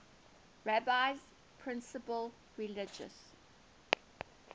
rabbi's principal religious